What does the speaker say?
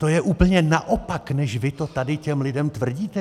To je úplně naopak, než vy to tady těm lidem tvrdíte.